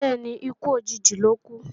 Bẹ́ẹ̀ni, ikú òjijì lókú